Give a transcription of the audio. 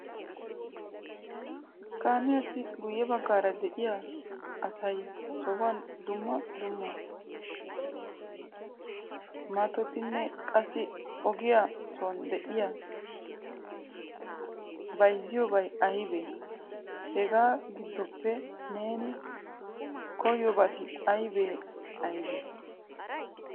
Kamiyaassi guyye baggaara de'iyan asay sohuwan dumma dumma maatotinne qassi ogiyaa soon de'iya bayzziyobay aybbe? Hega giddoppe neeni koyyiyobati aybbe aybne?